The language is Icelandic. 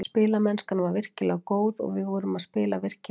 Spilamennskan var virkilega góð og við vorum að spila virkilega vel.